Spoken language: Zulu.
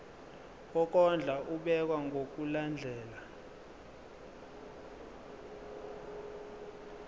wokondla ubekwa ngokulandlela